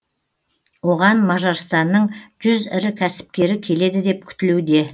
оған мажарстанның жүз ірі кәсіпкері келеді деп күтілуде